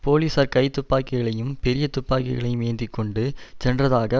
போலீசார் கைத்துப்பாக்கிகளையும் பெரிய துப்பாக்கிளையும் ஏந்தி கொண்டு சென்றதாக